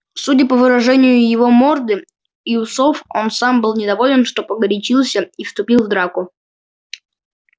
судя по выражению его морды и усов он сам был недоволен что погорячился и вступил в драку